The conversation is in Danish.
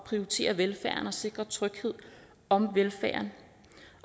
prioritere velfærden og sikre tryghed om velfærd